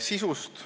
Sisust.